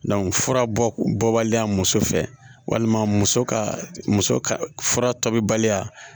fura bɔ baliya muso fɛ walima muso ka muso ka fura tɔ bi baliya